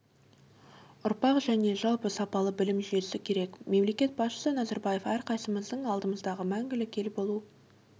ұрпақ және жалпы сапалы білім жүйесі керек мемлекет басшысы назарбаев әрқайсымыздың алдымызға мәңгілік ел болу